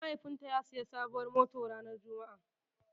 Eh mahaifin ta ya siya sabuwar mota ranar Juma'a